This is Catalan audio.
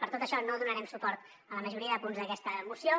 per tot això no donarem suport a la majoria de punts d’aquesta moció